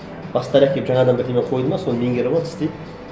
бастықтары әкеліп жаңадан бірдеңе қойды ма соны меңгеріп алып істейді